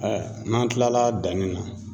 n'an kilala danni na